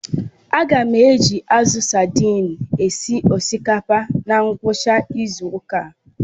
Aga m eji azụ sadin esi osikapa na ngwucha izu uka